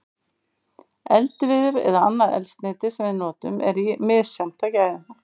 Eldiviður eða annað eldsneyti sem við notum er misjafnt að gæðum.